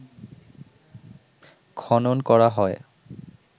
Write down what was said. খনন করা হয়